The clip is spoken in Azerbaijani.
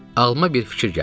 Ağlıma bir fikir gəldi.